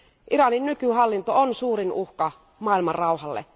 Iranin nykyhallinto on suurin uhka maailmanrauhalle.